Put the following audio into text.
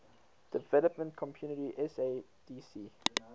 development community sadc